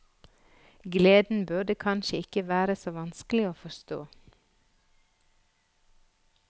Gleden burde kanskje ikke være så vanskelig å forstå.